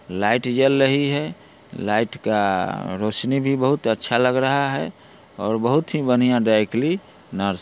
light जल रही है लाइट का रौशनी भी बहुत अच्छा लग रहा है और बहुत ही बड़ा बढ़िया ड्राई क्लीनर्स --